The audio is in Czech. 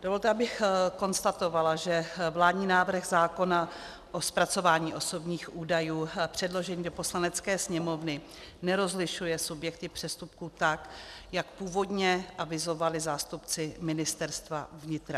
Dovolte, abych konstatovala, že vládní návrh zákona o zpracování osobních údajů předložený do Poslanecké sněmovny nerozlišuje subjekty přestupků tak, jak původně avizovali zástupci Ministerstva vnitra.